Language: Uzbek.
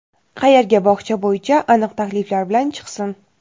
qayerga bog‘cha bo‘yicha aniq takliflar bilan chiqsin.